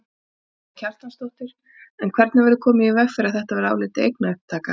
Karen Kjartansdóttir: En hvernig verður komið í veg fyrir að þetta verði álitið eignaupptaka?